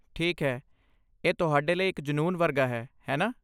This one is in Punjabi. ਠੀਕ ਹੈ, ਇਹ ਤੁਹਾਡੇ ਲਈ ਇੱਕ ਜਨੂੰਨ ਵਰਗਾ ਹੈ, ਹੈ ਨਾ?